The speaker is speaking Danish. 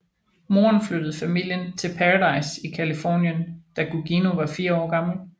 Moren flyttede familien til Paradise i Californien da Gugino var fire år gammel